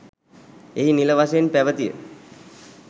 එහි නිල වශයෙන් පැවතිය